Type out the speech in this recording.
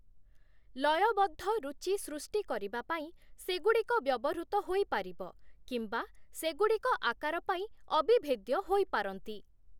ଲୟବଦ୍ଧ ରୁଚି ସୃଷ୍ଟି କରିବା ପାଇଁ ସେଗୁଡ଼ିକ ବ୍ୟବହୃତ ହୋଇପାରିବ କିମ୍ବା ସେଗୁଡ଼ିକ ଆକାର ପାଇଁ ଅବିଭେଦ୍ୟ ହୋଇପାରନ୍ତି ।